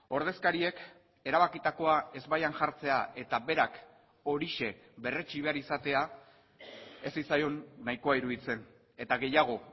ordezkariek erabakitakoa ezbaian jartzea eta berak horixe berretsi behar izatea ez zitzaion nahikoa iruditzen eta gehiago